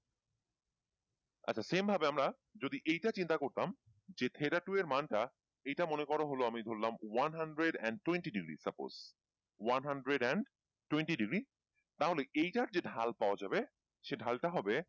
আচ্ছা same ভাবে আমরা যদি এইটা চিন্তা করতাম যে theta two এর মান টা এইটা মনে করা হলো আমি ধরলাম one hundred and twenty degree suppose, one hundred and twenty degree তাহলে এইটার যে ঢাল পাওয়া যাবে সেই ঢাল টা হবে,